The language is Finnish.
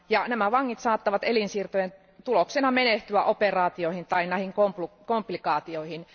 Nämä vangit saattavat elinsiirtojen tuloksena menehtyä operaatioihin tai komplikaatioihin.